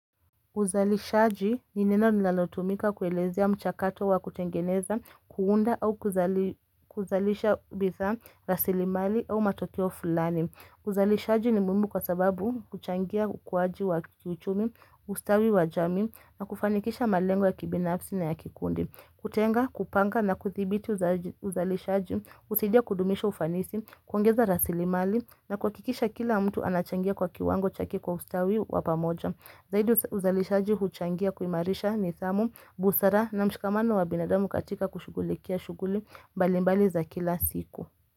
Uzalishaji ni neno linalotumika kuelezea mchakato wa kutengeneza, kuunda au kuzalisha bidhaa, rasili mali au matokeo fulani. Uzalishaji ni muhimu kwa sababu huchangia ukuwaji wa kiuchumi, ustawi wa jamii na kufanikisha malengo ya kibinafsi na ya kikundi. Kutenga, kupanga na kuthibiti uzalishaji, husaidia kudumisha ufanisi, kuongeza rasili mali na kuhakikisha kila mtu anachangia kwa kiwango chake kwa ustawi wa pamoja. Zaidi uzalishaji huchangia kuimarisha nidhamu, busara na mshikamano wa binadamu katika kushugulikia shughuli mbalimbali za kila siku.